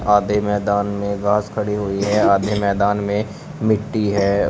आधे मैदान में घास खड़ी हुई है आधे मैदान में मिट्टी है।